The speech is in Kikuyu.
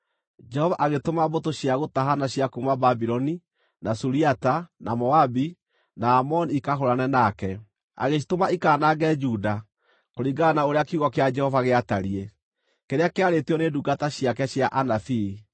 Jehova agĩtũma mbũtũ cia gũtahana cia kuuma Babuloni, na Suriata, na Moabi, na Amoni ikahũũrane nake. Agĩcitũma ikaanange Juda, kũringana na ũrĩa kiugo kĩa Jehova gĩatariĩ, kĩrĩa kĩarĩtio nĩ ndungata ciake cia anabii.